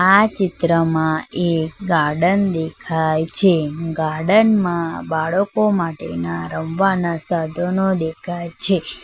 આ ચિત્રમાં એક ગાર્ડન દેખાય છે ગાર્ડન માં બાળકો માટેના રમવાના સાધનો દેખાય છે.